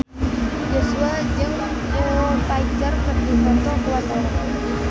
Joshua jeung Foo Fighter keur dipoto ku wartawan